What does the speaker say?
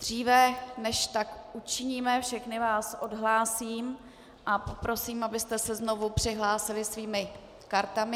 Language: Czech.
Dříve než tak učiníme, všechny vás odhlásím a poprosím, abyste se znovu přihlásili svými kartami.